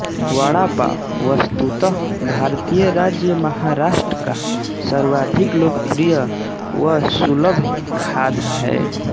वड़ापाव वस्तुतः भारतीय राज्य महाराष्ट्र का सर्वाधिक लोकप्रिय व सुलभ खाद्य है